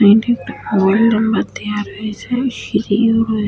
সাইডে একটা mobile number দেওয়া রয়েছে সিঁড়িও রয়ে --